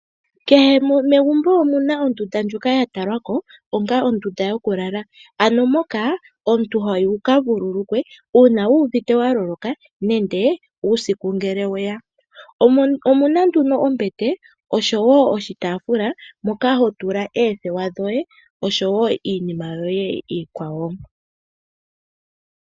Kehe megumbo omuna ondunda yokulala, mondunda moka aantu haya vululukilwa uuna yuuvite ya loloka nenge uusiku ngele weya. Omuna ombete osho wo oshitaafula mpoka aantu haya tula oothewa dhawo osho wo iinima iikwawo.